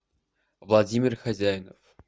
владимир хозяинов